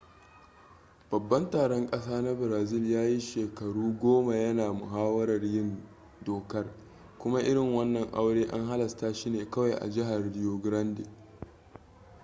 babban taron ƙasa na brazil ya yi shekaru goma ya na muhawarar yin dokar kuma irin wannan aure an halasta shi ne kawai a jihar rio grande